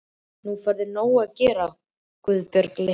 Nú færðu nóg að gera, Guðbjörg litla.